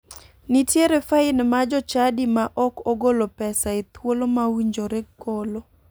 Nitie fain ma jochadi ma ok ogolo pesa e thuolo ma owinjore golo.